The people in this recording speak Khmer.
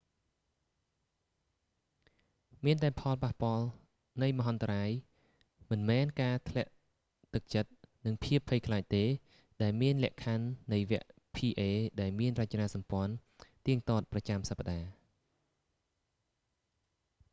មានតែផលប៉ះពាល់នៃមហន្តរាយមិនមែនការធ្លាក់ទឹកចិត្ត និងភាពភ័យខ្លាចទេ ដែលមានលក្ខខណ្ឌនៃវគ្គ pa ដែលមានរចនាសម្ព័ន្ធទៀតទាត់ប្រចាំសប្តាហ៍